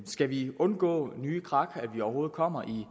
skal vi undgå nye krak undgå at vi overhovedet kommer i